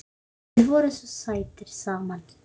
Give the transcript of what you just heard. Þið voruð svo sætir saman.